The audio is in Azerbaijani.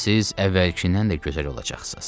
Siz əvvəlkindən də gözəl olacaqsınız.